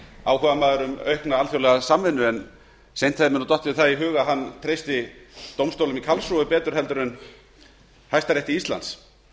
áhugamaður um aukna alþjóðlega samvinnu en þeim hefur dottið það í hug að hann treysti dómstólnum í karlsruhe betur heldur en hæstarétti íslands